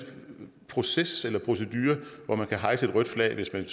proces eller procedure hvor man kan hejse et rødt flag hvis man